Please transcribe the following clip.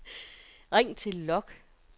ring til log